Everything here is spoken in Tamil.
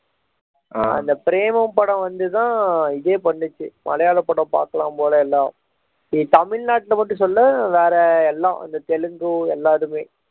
அந்த பிரேமம் படம் வந்து தான் இதே பண்ணுச்சு மலையாள படம் பாக்கலாம் போல எல்லாம் தமிழ்நாட்டில் மட்டும் சொல்லல வேற எல்லாம் இந்த தெலுங்கு எல்லா இதுமே